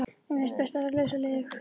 Mér finnst best að vera laus og liðug.